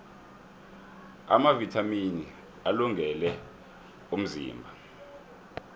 amavithamini alungele umzimba